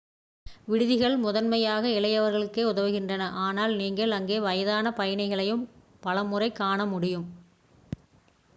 விடுதிகள் முதன்மையாக இளையவர்களுக்கே உதவுகின்றன ஆனால் நீங்கள் அங்கே வயதான பயணிகளையும் பலமுறை காண முடியும்